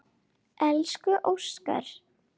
Elsku Óskar.